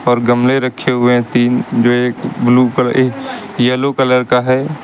और गमले रखे हुए हैं तीन जो एक ब्लू कलर एक येलो कलर का है।